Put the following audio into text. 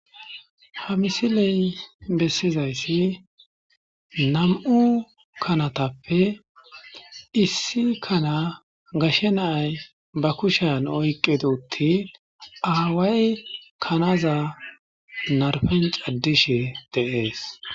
Ha misiley besizaysi nam'u kanatppe issi kana gashe na'ay ba kushan okidi otin aaway kanaza naripwn cadishe de'esi.